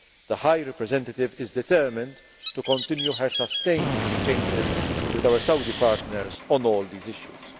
trust. The High Representative is determined to continue her sustained exchanges with our Saudi partners on all these